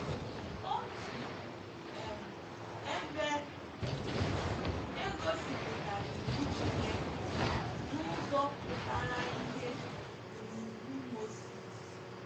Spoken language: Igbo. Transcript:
Otu um ebe um e gosipụtara iwu Chineke n’ụzọ pụtara ìhè bụ n’Iwu Moses.